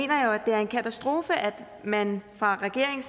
det er en katastrofe at man fra regeringen